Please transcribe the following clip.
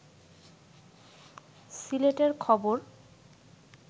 সিলেটের খবর